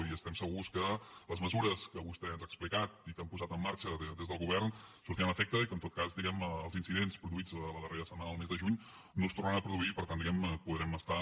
i estem segurs que les mesures que vostè ens ha explicat i que han posat en marxa des del govern tindran efecte i que en tot cas diguem ne els incidents produïts la darrera setmana del mes de juny no es tornaran a produir per tant diguem ne podrem estar